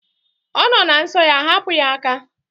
Ọ nọ na nsọ ya. Hapụ ya aka!